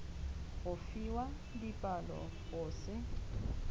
go fiwa dipalo go se